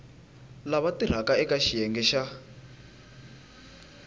lava tirhaka eka xiyenge xa